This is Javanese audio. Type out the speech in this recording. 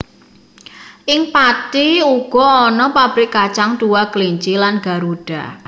Ing Pathi uga ana pabrik kacang Dua Kelinci lan Garuda